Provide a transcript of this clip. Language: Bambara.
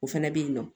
O fɛnɛ bɛ yen nɔ